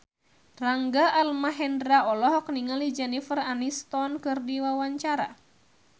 Rangga Almahendra olohok ningali Jennifer Aniston keur diwawancara